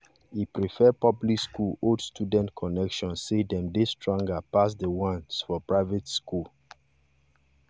e prefer public school old student connection say dem dey stronger pass the ones for private school